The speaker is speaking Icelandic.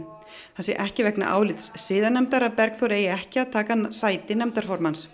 það sé ekki vegna álits siðanefndar að Bergþór eigi ekki að taka sæti nefndarformanns